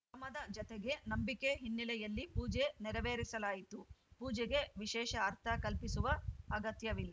ಶ್ರಮದ ಜತೆಗೆ ನಂಬಿಕೆ ಹಿನ್ನೆಲೆಯಲ್ಲಿ ಪೂಜೆ ನೇರವೇರಿಸಲಾಯಿತು ಪೂಜೆಗೆ ವಿಶೇಷ ಅರ್ಥ ಕಲ್ಪಿಸುವ ಅಗತ್ಯವಿಲ್